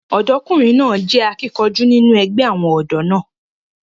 ọ̀dọ́kùnrin náà jẹ́ akíkanjú nínú ẹgbẹ́ àwọn ọ̀dọ́ náà